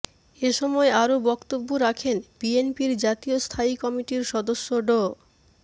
এ সময় আরো বক্তব্য রাখেন বিএনপির জাতীয় স্থায়ী কমিটির সদস্য ড